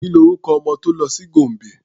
Ki ni orúkọ ọmọ tó lọ sí Gombe?